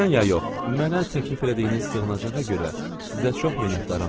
Mənə təklif elədiyiniz sığınacağa görə sizə çox minnətdaram nənə.